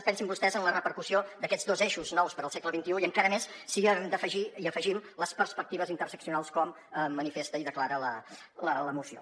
pensin vostès en la repercussió d’aquests dos eixos nous per al segle xxi i encara més si hi afegim les perspectives interseccionals com manifesta i declara la moció